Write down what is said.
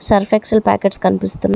Surf Excel packets కనిపిస్తున్న --